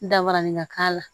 Dabarani ka k'a la